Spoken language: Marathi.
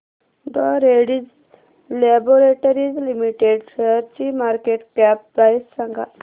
डॉ रेड्डीज लॅबोरेटरीज लिमिटेड शेअरची मार्केट कॅप प्राइस सांगा